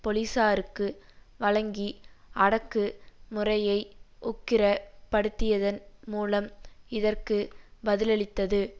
பொலிசாருக்கு வழங்கி அடக்கு முறையை உக்கிரப் படுத்தியதன் மூலம் இதற்கு பதிலளித்தது